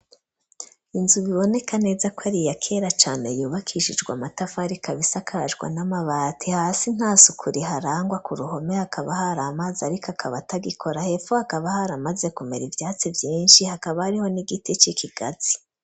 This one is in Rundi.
Inzu, biboneka neza ko, ari iya kera cane, yubakishijwe amatafari, ikaba, isakajwe n'amabati; hasi, nta suku riharangwa, ku ruhome, hakaba hari amazi, ariko akaba, atagikora; hepfo, hakaba haramaze, kumera ivyatsi, vyinshi, hakaba, hariho n'igiti c'ikigazi.